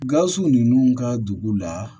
Gawusu ninnu ka dugu la